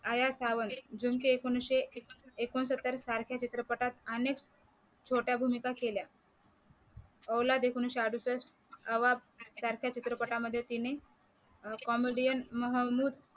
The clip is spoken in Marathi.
अया चावल जुने के एकोणीशे एकोणसत्तर सारख्या चित्रपटात छोट्या भूमिका केल्या औलाद एकोणविशे अडुसठ नवाब सारख्या चित्रपटात तिने comedian महंमूद